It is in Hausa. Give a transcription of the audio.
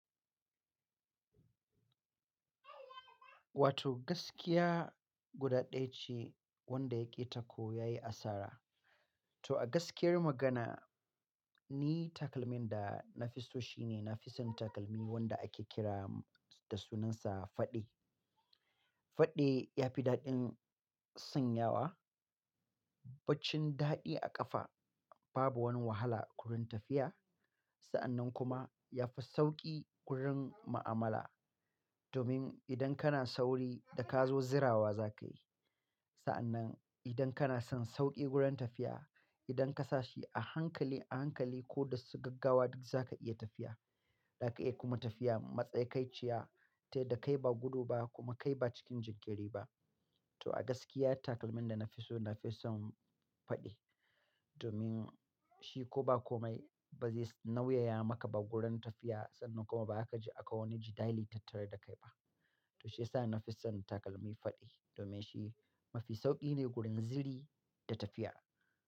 Wato gaskiya guda ɗaya ce wanda ya ƙita ko ya yi asara. To a gaskiyar magana ni takalmin da na fi so shi ne na fi son takalmi wanda ake kira da sunansa faɗe. Faɗe ya fi daɗin sanyawa, baccin daɗi a ƙafa, babu wani wahala wurin tafiya. Sa'annan kuma ya fi sauƙi wurin ma'amala domin idan kana sauri da ka zo zirawa za ka yi. Sa'annan idan kana son sauƙi gurin tafiya, idan ka sa shi a hankali a hankali ko da su gaggawa duk za ka iya tafiya. Za ka iya kuma tafiya matsakaiciya ta yadda kai ba gudu ba kuma kai ba cikin jinkiri ba. To a gaskiya takalmin da na fi so na fi son faɗe domin shi ko ba komai ba zai nauyaya maka ba gurin tafiya sannan kuma ba aka ji aka wani jidali tattari da kai ba. To shi ya sa na fi son takalmi faɗe domin shi mafi sauƙi ne gurin ziri da tafiya.